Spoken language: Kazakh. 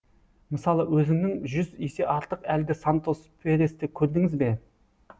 мысалы өзіңнен жүз есе артық әлгі сантос пересті көрдіңіз бе